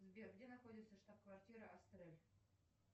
сбер где находится штаб квартира астрель